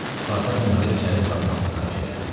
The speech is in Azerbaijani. Spartak onları içəri buraxmasını xahiş elədi.